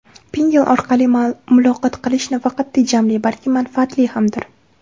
Pinngle orqali muloqot qilish nafaqat tejamli, balki manfaatli hamdir .